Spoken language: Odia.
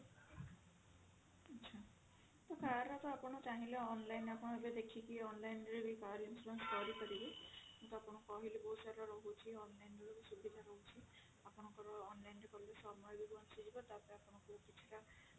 car ର ତ ଆପଣ ଚାହିଁଲେ online ଆପଣ ଏବେ ଦେଖିକି online ରେ ବି car insurance କରିପାରିବେ ମୁଁ ବି ଆପଣଙ୍କୁ କହିଲି ବହୁତ ସାରା ରହୁଛି online ରେ ସୁବିଧା ରହୁଛି ଆପଣଙ୍କର online ରେ କଲେ ସମୟ ବି ବଞ୍ଚିଯିବ ତାପରେ ଆପଣଙ୍କୁ କିଛିଟା